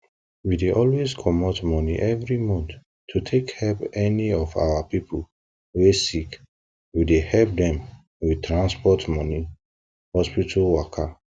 we dey always comot money every month to take help any of our people wey sick we dey help dem with tansport money hospital waka